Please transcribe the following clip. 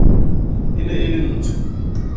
e ne e le ntsho